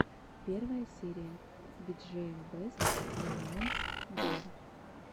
первая серия биджиэм бэст моментс гейм